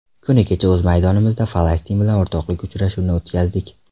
Kuni kecha o‘z maydonimizda Falastin bilan o‘rtoqlik uchrashuvi o‘tkazdik.